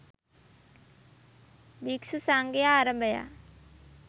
භික්ෂු සංඝයා අරභයා